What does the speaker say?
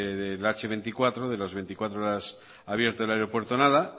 del hmenos veinticuatro de las veinticuatro horas abierto el aeropuerto nada